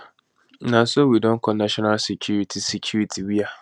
na so we don call national security security wia